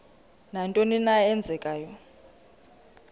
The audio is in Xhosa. nantoni na eenzekayo